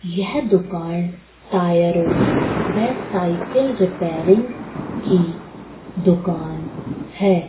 यह दुकान टायरो वे साइकिल रिपेयरिंग की दुकान हैं।